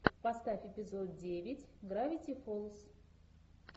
поставь эпизод девять гравити фолз